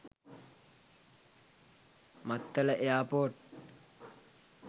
maththala airport